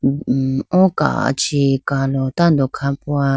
o kachi kalo tando khapowa.